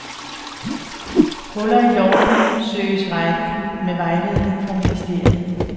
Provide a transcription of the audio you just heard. Huller i loven søges rettet med vejledning fra ministeriet.